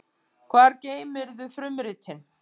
Hvar geymirðu frumritin?